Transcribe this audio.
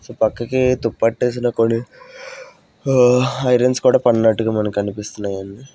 So పక్కకి తుప్పట్టేసిన కొన్ని ఆ ఐరన్స్ కూడా పడినట్టుగా మనకు కనిపిస్తున్నాయండి.